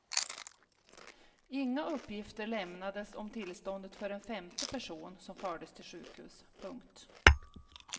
Inga uppgifter lämnades om tillståndet för en femte person som fördes till sjukhus. punkt